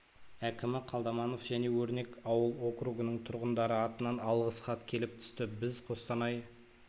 әкімі қалдаманов және өрнек ауыл округының тұрғындары атынан алғыс хат келіп түсті біз қостанай